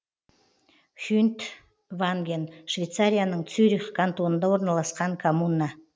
хюнтванген швейцарияның цюрих кантонында орналасқан коммуна